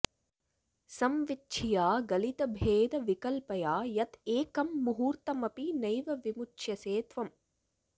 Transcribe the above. संविच्छिया गलितभेद विकल्पया यत् एकं मुहूर्तमपि नैव विमुच्यसे त्वम्